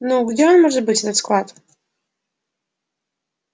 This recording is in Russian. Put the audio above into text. ну где он может быть этот склад